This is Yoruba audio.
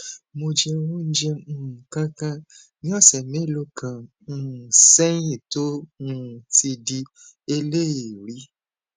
mo jẹ oúnjẹ um kan kan ní ọsẹ mélòó kan um sẹyìn tó um ti di eléèérí